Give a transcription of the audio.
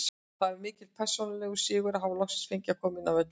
Það var mikill persónulegur sigur að hafa loksins fengið að koma inn á völlinn.